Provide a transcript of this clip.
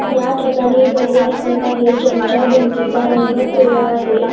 या ठिकाणी घरे दिसत आहे ज्यांच्या भिंतीचा रंग पिवळा आहे.